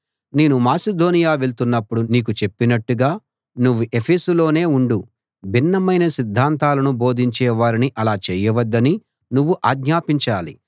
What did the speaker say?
నేను మాసిదోనియ వెళ్తున్నపుడు నీకు చెప్పినట్టుగా నువ్వు ఎఫెసులోనే ఉండు భిన్నమైన సిద్ధాంతాలను బోధించే వారిని అలా చేయవద్దని నువ్వు ఆజ్ఞాపించాలి